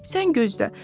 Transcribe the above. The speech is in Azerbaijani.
Sən gözlə.